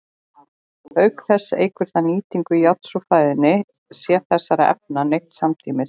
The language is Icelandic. Auk þess eykur það nýtingu járns úr fæðunni sé þessara efna neytt samtímis.